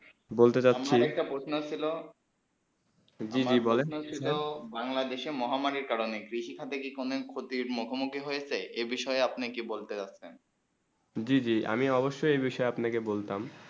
বলতে যাচ্ছি আমার একটা প্রশ্ন ছিল জী জী বলেন প্রশ্ন ছিল বাংলাদেশে মহামারী কারণ কৃষি খাতে কি কোনো ক্ষতির মুখ মোখি হয়েছে এই বিষয়ে আপন ই কি বলতে চাচ্ছেন জী জী আমি অবশ্য এই বিষয়ে তে আপনা কে বলতাম